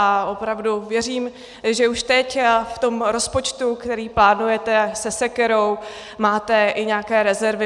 A opravdu věřím, že už teď v tom rozpočtu, který plánujete se sekerou, máte i nějaké rezervy.